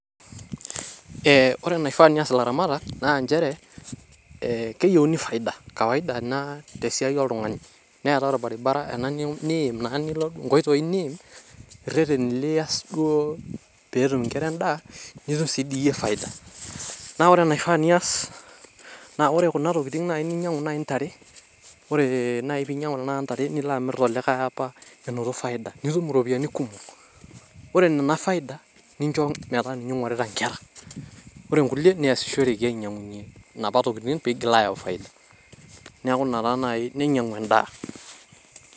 Ore enaifaa neas ilaramatak naa nchere, ee keyieuni faida kawaida ina te siai oltung`ani neetai olbaribara ena niim naa nilo inkoitoi niim rreteni lias duo pee etum nkera en`daa nitum sii dii iyie faida. Naa ore enaifaa niyas ore kuna tokiting ninyiang`u naaji ntare, ore naaji pee inyiang`u intare nilo amirr naji tolikae apa naaji enotito faida nitum irropiyiani kumok. Ore nena faida nincho metaa ninye eigorita nkera. Ore nkulie nincho metaasishoreki aasie inapa tokitin pee eitoki aayau faida. Naiku ina taa naaji, neinyiang`u en`daa.